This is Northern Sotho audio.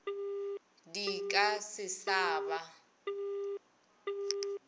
di ka se sa ba